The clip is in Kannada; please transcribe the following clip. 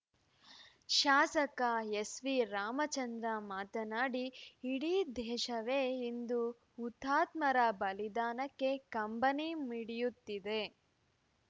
ಶಾಸಕ ಎಸ್‌ವಿರಾಮಚಂದ್ರ ಮಾತನಾಡಿ ಇಡೀ ದೇಶವೇ ಇಂದು ಹುತಾತ್ಮರ ಬಲಿದಾನಕ್ಕೆ ಕಂಬನಿ ಮಿಡಿಯುತ್ತಿದೆ